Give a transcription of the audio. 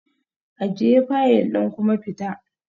Ajiye fayil ɗin kuma fita